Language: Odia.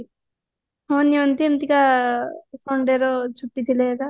ହଁ ନିଅନ୍ତି ଏମତିକା sundayର ଛୁଟି ଥିଲେ ଏକା